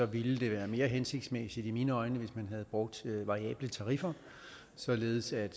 ville det være mere hensigtsmæssigt i mine øjne hvis man havde brugt variable tariffer således at